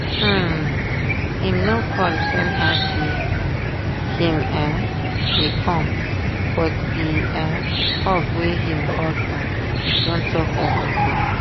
um him no call tell her say him um dey come but the um hug wey him hug her don talk everything